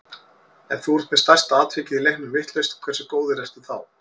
Ef þú ert með stærsta atvikið í leiknum vitlaust, hversu góður ertu þá?